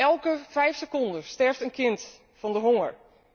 Elke vijf seconden sterft een kind van de honger.